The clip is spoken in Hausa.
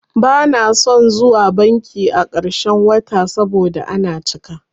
Bana son zuwa banki a ƙarshen wata saboda ana cika.